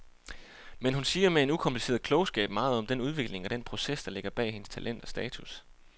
Men hun siger med en ukompliceret klogskab meget om den udvikling og den proces, der ligger bag hendes talent og status.